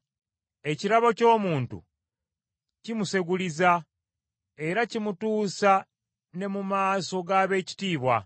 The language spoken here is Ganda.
Ekirabo ky’omuntu kimuseguliza, era kimutuusa ne mu maaso g’abeekitiibwa.